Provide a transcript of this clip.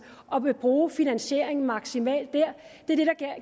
og vil bruge finansieringen maksimalt der